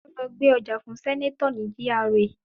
Ó lọ gbé ọjà fún sẹ́nátọ̀ ní GRA